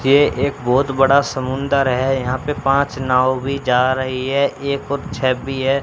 ये एक बहोत बड़ा समुंदर है यहाँ पे पांच नाव भी जा रही है एक और पीछे भी है।